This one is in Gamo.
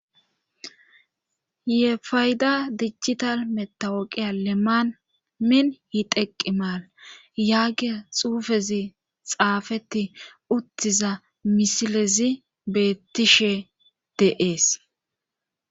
ye fayda dijital metawoqiya leminn yiteqqi maala yaagia xuufezi xaafeti uttiza misilezi beettishe de'ees